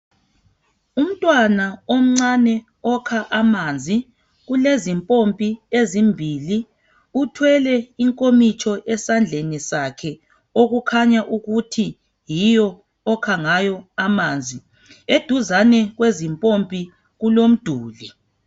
Umntwana omncane okha amanzi. Kulezimpompi ezimbili. Uthwele inkomitsho esandleni sakhe. Okukhanya ukuthi yiyo okha ngayo amanzi. Eduzane kwezimpompi kulomduli.